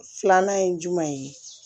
Filanan ye jumɛn ye